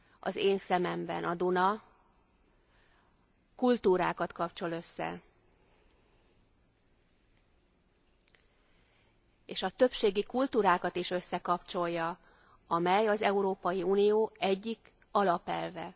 Az én szememben a Duna kultúrákat kapcsol össze, és a többségi kultúrákat is összekapcsolja, amely az Európai Unió egyik alapelve.